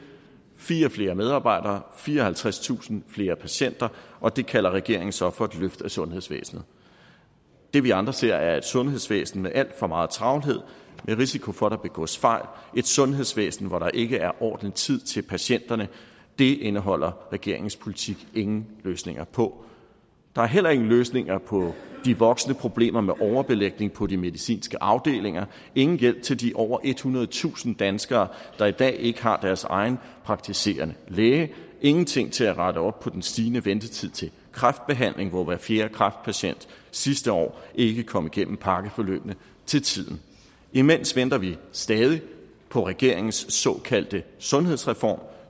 fire flere medarbejdere fireoghalvtredstusind flere patienter og det kalder regeringen så for et løft af sundhedsvæsenet det vi andre ser er et sundhedsvæsen med alt for meget travlhed med risiko for at der begås fejl et sundhedsvæsen hvor der ikke er ordentlig tid til patienterne det indeholder regeringens politik ingen løsninger på der er heller ingen løsninger på de voksende problemer med overbelægning på de medicinske afdelinger og ingen hjælp til de over ethundredetusind danskere der i dag ikke har deres egen praktiserende læge og ingenting til at rette op på den stigende ventetid til kræftbehandling hvor hver fjerde kræftpatient sidste år ikke kom igennem pakkeforløbene til tiden imens venter vi stadig på regeringens såkaldte sundhedsreform